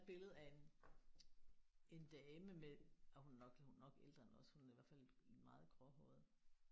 Der er et billede af en en dame med ej hun er nok hun er nok ældre end os. Hun er i hvert fald meget gråhåret